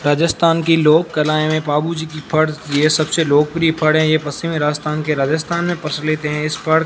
राजस्थान की लोककलाएं में पाबूजी की फड़ ये सबसे लोकप्रिय फड़ है ये पश्चिमी राजस्थान के राजस्थान में प्रचलित है इस फड़ --